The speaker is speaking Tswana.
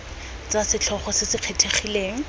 tsa setlhogo se se kgethegileng